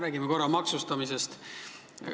Räägime korra maksustamisest.